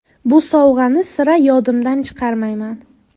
Bu sovg‘ani sira yodimdan chiqarmayman.